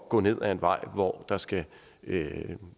gå ned ad en vej hvor der skal